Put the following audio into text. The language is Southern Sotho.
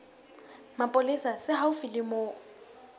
mapolesa se haufi le moo